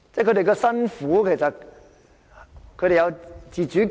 他們辛苦，但他們其實有自主權。